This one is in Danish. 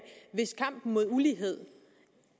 hvis kampen mod ulighed